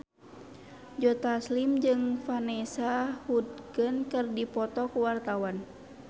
Joe Taslim jeung Vanessa Hudgens keur dipoto ku wartawan